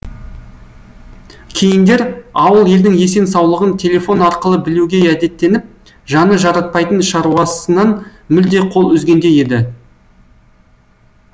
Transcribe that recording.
кейіндер ауыл елдің есен саулығын телефон арқылы білуге әдеттеніп жаны жаратпайтын шаруасынан мүлде қол үзгендей еді